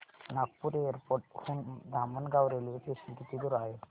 Nagpur airport हून Dhamangaon railway station किती दूर आहे